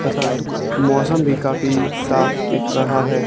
तथा मौसम भी काफी साफ दिख रहा है।